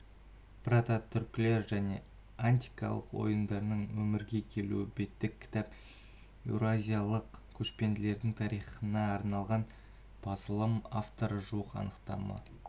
прототүркілер және антикалық ойындардың өмірге келуі беттік кітап еуразиялық көшпелілердің тарихына арналған басылым авторы жуық анықтаманы